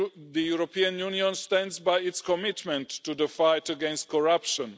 the European Union stands by its commitment to the fight against corruption